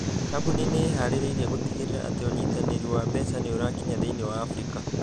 Kambuni nĩ ĩĩhaarĩirie gũtigĩrĩra atĩ unyitanĩri wa mbeca nĩ ũrakinya thĩinĩ wa Afrika.